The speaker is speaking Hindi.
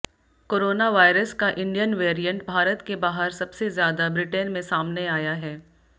कोरोना वायरस का इंडियन वैरिएंट भारत के बाहर सबसे ज्यादा ब्रिटेन में सामने आया है